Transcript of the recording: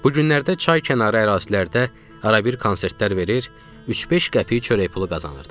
Bu günlərdə çay kənarı ərazilərdə arabir konsertlər verir, 3-5 qəpik çörək pulu qazanırdıq.